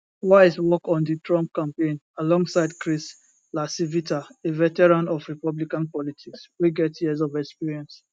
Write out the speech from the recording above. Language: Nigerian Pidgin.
wiles work on di trump campaign alongside chris lacivita a veteran of republican politics wey get years of experience